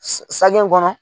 Sage kɔnɔ